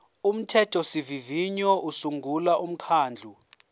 umthethosivivinyo usungula umkhandlu